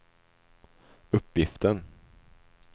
uppgiften